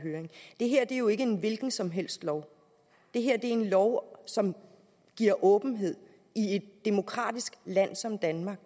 høring det her er jo ikke en hvilken som helst lov det her er en lov som giver åbenhed i et demokratisk land som danmark